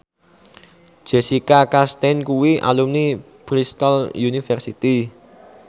Jessica Chastain kuwi alumni Bristol university